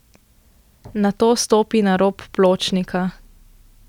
Nato stopi na rob pločnika.